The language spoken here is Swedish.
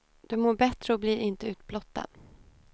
Du mår bättre och blir inte utblottad.